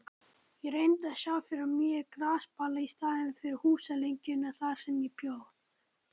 Ég reyndi að sjá fyrir mér grasbala í staðinn fyrir húsalengjuna þar sem ég bjó.